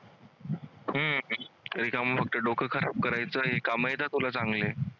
हम्म डोकं खराब करायचं हे काम येतंय तुला चांगले.